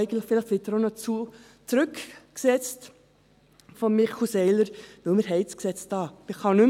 Vielleicht wird er von Michel Seiler auch noch zurückgesetzt, weil wir das Gesetz hier haben.